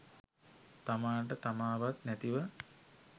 තමාට තමාවත් නැතිව